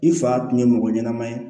I fa tun ye mɔgɔ ɲɛnama ye